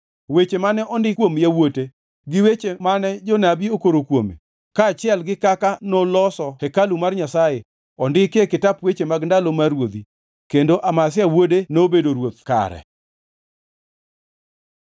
Weche mane ondiki kuom yawuote gi weche mane jonabi okoro kuome kaachiel gi kaka noloso hekalu mar Nyasaye ondiki e kitap weche mag ndalo mar ruodhi. Kendo Amazia wuode nobedo ruoth kare.